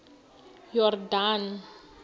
yordane